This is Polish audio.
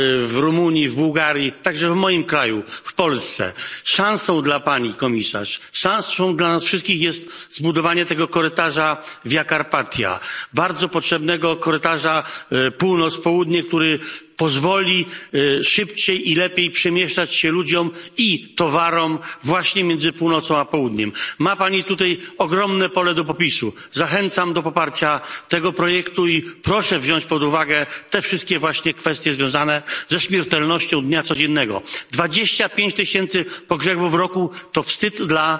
w Rumunii, w Bułgarii i także w moim kraju, w Polsce. Szansą dla Pani Komisarz, szansą dla nas wszystkich jest zbudowanie korytarza Via Carpathia bardzo potrzebnego korytarza północ południe, który pozwoli szybciej i lepiej przemieszczać się ludziom i towarom między północą a południem. Ma Pani tutaj ogromne pole do popisu. Zachęcam do poparcia tego projektu i proszę wziąć pod uwagę wszystkie kwestie związane ze śmiertelnością dnia codziennego. 25 tysięcy pogrzebów w roku to wstyd